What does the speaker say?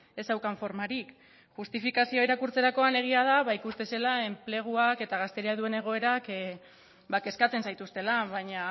ez zeukan formarik justifikazioa irakurtzerakoan egia da ikusten zela enpleguak eta gazteriak duen egoerak kezkatzen zaituztela baina